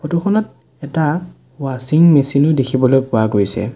Photo খনত এটা ৱাছিং মেচিন ও দেখিবলৈ পোৱা গৈছে।